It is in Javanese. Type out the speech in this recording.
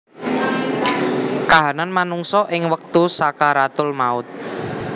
Kahanan manungsa ing wektu sakaratul maut